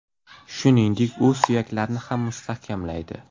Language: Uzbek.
Shuningdek, u suyaklarni ham mustahkamlaydi.